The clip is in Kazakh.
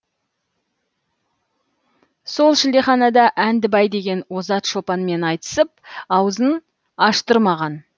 сол шілдеханада әндібай деген озат шопанмен айтысып ауызын аштырмаған